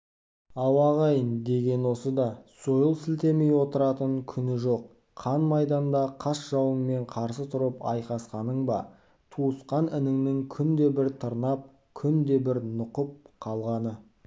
ау ағайын деген осы да сойыл сілтемей отыратын күні жоқ қан майданда қас жауыңмен қарсы тұрып алысқаның ба туысқан ініңнің күнде бір тырнап күнде бір нұқып к алғаны